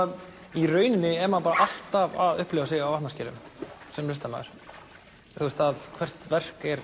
í rauninni er maður alltaf að upplifa sig á vatnaskilum sem listamaður hvert verk er